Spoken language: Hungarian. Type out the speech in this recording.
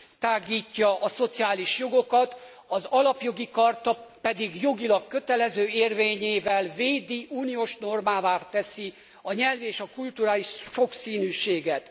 kitágítja a szociális jogokat, az Alapjogi Charta pedig jogilag kötelező érvényével védi, uniós normává teszi a nyelvi és a kulturális sokszínűséget.